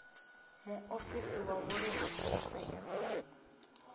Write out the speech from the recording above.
muofisi wa vhuḓi ha mufhe